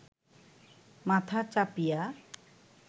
মাথা চাপিয়া